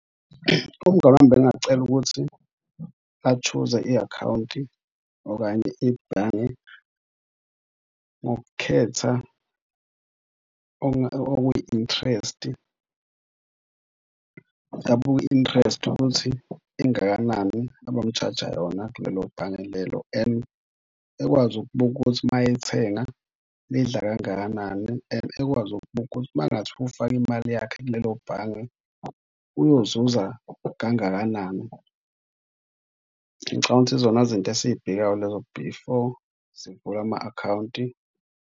Umngani wami bengingacela ukuthi a-choose-e i-akhawunti okanye ibhange ngokukhetha okwiyi-interest abuke i-interest ukuthi ingakanani abami-charge-a yona kulelo bhange lelo and ekwazi ukubuka ukuthi uma ethenga lidla kangakanani and ekwazi ukubuka ukuthi uma kungathiwa ufaka imali yakhe kulelo bhange uyozuza kangakanani. Ngicabanga ukuthi izona zinto esiy'bhekayo lezo before sivule ama-akhawunti.